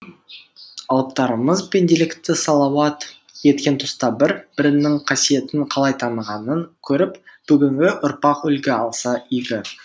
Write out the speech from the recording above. алыптарымыз пенделікті салауат еткен тұста бір бірінің қасиетін қалай танығанын көріп бүгінгі ұрпақ үлгі алса игі